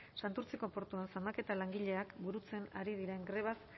santurtziko portuan zamaketa langileak burutzen ari diren grebaz